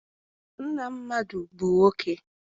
Nna mmadụ bụ nwoke.